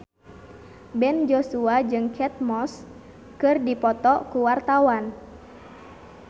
Ben Joshua jeung Kate Moss keur dipoto ku wartawan